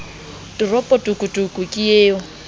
toropo tokotoko ke eo o